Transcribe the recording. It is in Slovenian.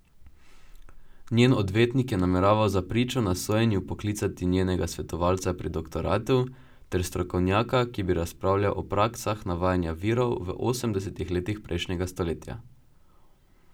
Njen odvetnik je nameraval za pričo na sojenju poklicati njenega svetovalca pri doktoratu ter strokovnjaka, ki bi razpravljal o praksah navajanja virov v osemdesetih letih prejšnjega stoletja.